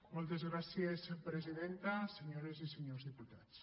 moltes gràcies presidenta senyores i senyors diputats